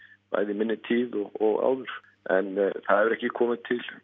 bæði í minni tíð og áður en það hefur ekki komið